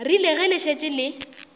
rile ge le šetše le